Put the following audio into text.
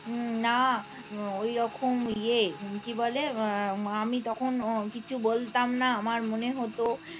উম না ওই রকম ইয়ে হুম কি বলে মা আমি তখন কিছু বলতাম না আমার মনে হতো